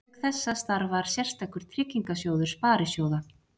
Auk þessa starfar sérstakur tryggingasjóður sparisjóða.